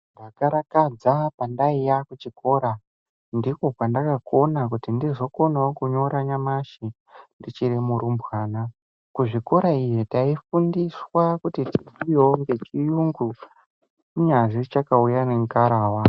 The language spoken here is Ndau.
Ndakarakadza pandaiya kuchikora ndiko kwandakakona kuti ndizokonawo kunyorawo nyamashi ndichiri murumbwana. Kuzvikora iyo taifunduswa kuti ti...wo ngechiyungu kunyazwi chakauya ngengarava.